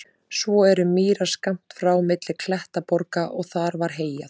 Svo voru mýrar skammt frá milli klettaborga og þar var heyjað.